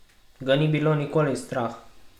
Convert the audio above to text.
Ga ni bilo nikoli strah?